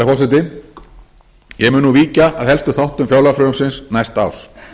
forseti ég mun nú víkja að helstu þáttum fjárlagafrumvarps næsta árs